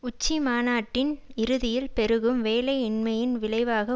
உச்சி மாநாட்டின் இறுதியில் பெருகும் வேலையின்மையின் விளைவாக